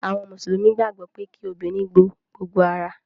Àwọn mùsùlùmí gbàgbó pe kí obìrin bó gbogbo àrà